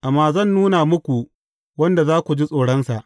Amma zan nuna muku wanda za ku ji tsoronsa.